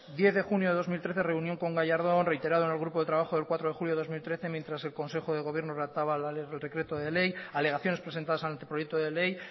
diez de junio de dos mil trece reunión con gallardón reiterado en el grupo de trabajo del cuatro de julio de dos mil trece mientras que el consejo de gobierno redactaba el real decreto de ley alegaciones presentadas ante el proyecto de ley